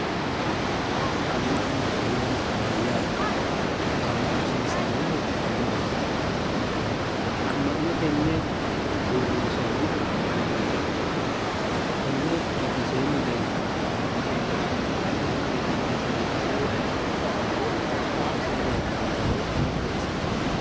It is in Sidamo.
Amma'no uaa mayyaate amma'no hasiissannohu mayiraati amma'no tenne uurri soonnihu mayinniiti konne giddoseenni leeltanno misilla babbaxeho garinni qixxeesse bifisinohu ayiti gobbadeenni leeltanno hooweayi qixeessino